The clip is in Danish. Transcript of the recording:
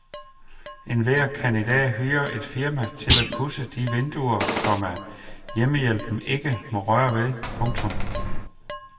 Enhver kan i dag hyre et firma til at pudse de vinduer, komma hjemmehjælpen ikke må røre ved. punktum